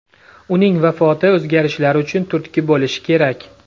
Uning vafoti o‘zgarishlar uchun turtki bo‘lishi kerak.